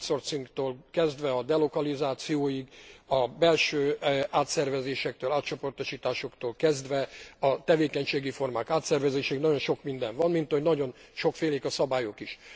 Az outsourcingtól kezdve a delokalizációig, a belső átszervezésektől, átcsoportosításoktól kezdve a tevékenységi formák átszervezéséig nagyon sok minden van, mint ahogy nagyon sokfélék a szabályok is.